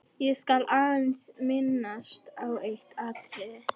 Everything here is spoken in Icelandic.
Ég skal aðeins minnast á eitt atriði.